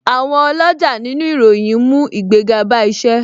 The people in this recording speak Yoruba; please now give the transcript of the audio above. Àwọn oloja nínú ìròyìn ń mú ìgbéga bá isẹ